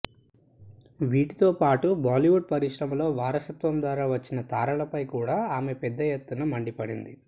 వీటితో పాటు బాలీవుడ్ పరిశ్రమలో వారసత్వం ద్వారా వచ్చిన తారలపై కూడా ఆమె పెద్ద ఎత్తున మండిపడింది